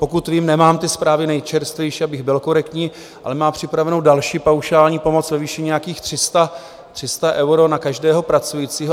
Pokud vím - nemám ty zprávy nejčerstvější, abych byl korektní - ale má připravenou další paušální pomoc ve výši nějakých 300 euro na každého pracujícího.